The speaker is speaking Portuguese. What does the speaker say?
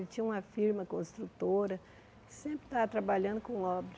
Ele tinha uma firma construtora, sempre estava trabalhando com obra.